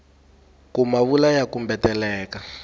ku ma vula ya kumbeteleka